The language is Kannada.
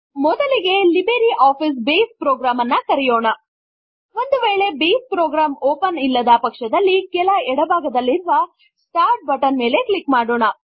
ಮೊದಲಿಗೆ ಲಿಬ್ರೆ ಆಫೀಸ್ ಬೇಸ್ ಪ್ರೊಗ್ರಾಮ್ ನನ್ನು ಕರೆಯೋಣ ಒಂದು ವೇಳೆ ಬೇಸ್ ಪ್ರೊಗ್ರಾಮ್ ಓಪನ್ ಇಲ್ಲದ ಪಕ್ಷದಲ್ಲಿ ಕೆಲ ಎಡ ಭಾಗದಲ್ಲಿರುವ ಸ್ಟಾರ್ಟ್ ಬಟನ್ ಮೇಲೆ ಕ್ಲಿಕ್ ಮಾಡೋಣ